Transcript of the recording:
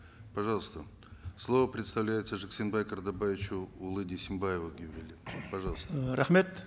пожалуйста слово предоставляется жексенбай картабаевичу пожалуйста рахмет